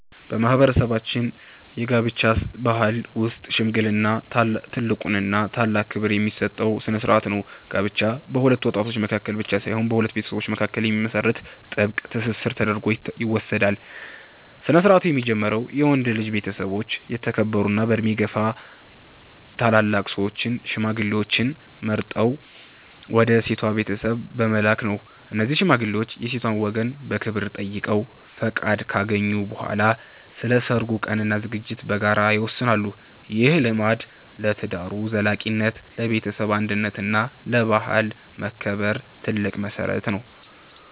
በማህበረሰባችን የጋብቻ ባህል ውስጥ "ሽምግልና" ትልቁና ታላቅ ክብር የሚሰጠው ስነ-ስርዓት ነው። ጋብቻ በሁለት ወጣቶች መካከል ብቻ ሳይሆን በሁለት ቤተሰቦች መካከል የሚመሰረት ጥብቅ ትስስር ተደርጎ ይወሰዳል። ስነ-ስርዓቱ የሚጀምረው የወንድ ልጅ ቤተሰቦች የተከበሩና በዕድሜ የገፉ ታላላቅ ሰዎችን (ሽማግሌዎችን) መርጠው ወደ ሴቷ ቤተሰብ በመላክ ነው። እነዚህ ሽማግሌዎች የሴቷን ወገን በክብር ጠይቀው ፈቃድ ካገኙ በኋላ፣ ስለ ሰርጉ ቀንና ዝግጅት በጋራ ይወስናሉ። ይህ ልማድ ለትዳሩ ዘላቂነት፣ ለቤተሰብ አንድነት እና ለባህል መከበር ትልቅ መሰረት ነው።